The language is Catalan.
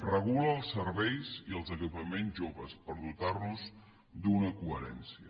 regula els serveis i els equipaments joves per dotar nos d’una coherència